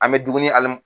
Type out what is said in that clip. An bɛ dumuni hali